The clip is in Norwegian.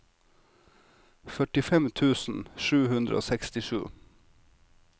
førtifem tusen sju hundre og sekstisju